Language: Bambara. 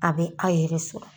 A bɛ a' yɛrɛ sɔrɔ